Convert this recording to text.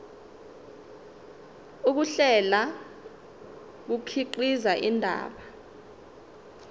ukuhlela kukhiqiza indaba